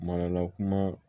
Marala kuma